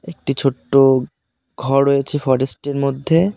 একটি ছোট্ট ঘ রয়েছে ফরেস্ট -এর মধ্যে।